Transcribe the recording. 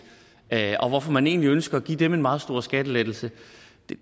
og hvorfor man egentlig ønsker at give dem en meget stor skattelettelse